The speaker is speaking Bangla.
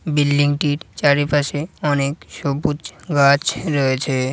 বিল্ডিং টির চারিপাশে অনেক সবুজ গাছ রয়েছে ।